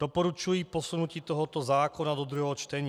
Doporučuji posunutí tohoto zákona do druhého čtení.